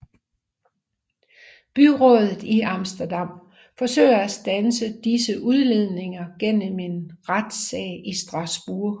Byrådet i Amsterdam forsøger at standse disse udledninger gennem en retssag i Strasbourg